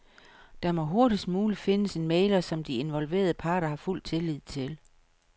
Der må hurtigst muligt findes en mægler, som de involverede parter har fuld tillid til.